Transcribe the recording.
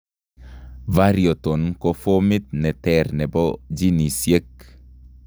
Variaton ko fomit ne ter nebo genisiek